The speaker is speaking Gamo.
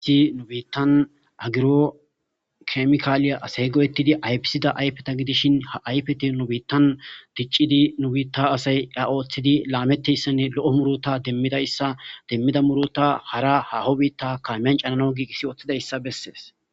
I nu biittan agiro kemikaaliya asay goyettidi ayfisida ayfeta gidishin ha ayfeti nu biittan diccidi nubiitta asay a ooththidi laameteyssenne lo'o murota demmidayssa demmida murota hara haho biitta kaamiyan canano giigis ooththida ssa bessees.